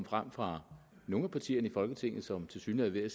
frem fra nogle af partierne i folketinget som tilsyneladende er